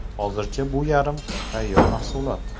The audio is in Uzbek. Hozircha bu yarim tayyor mahsulot.